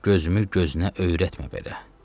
Gözümü gözünə öyrətmə belə.